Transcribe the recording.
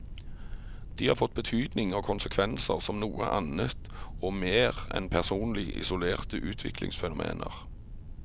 De har fått betydning og konsekvenser som noe annet og mer enn personlig, isolerte utviklingsfenomener.